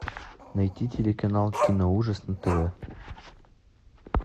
найти телеканал киноужас на тв